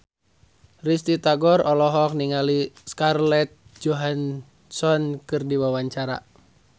Risty Tagor olohok ningali Scarlett Johansson keur diwawancara